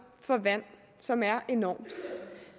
for vand som er enormt